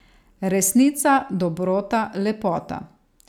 Resnica, Dobrota, Lepota.